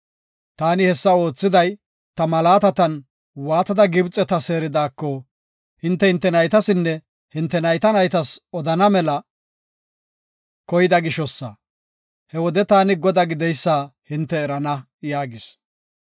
Taani hessa oothiday ta malaatatan waatada Gibxeta seeridaako hinte hinte naytasinne hinte nayta naytas odana mela koyida gishosa. He wode taani Godaa gideysa hinte erana” yaagis.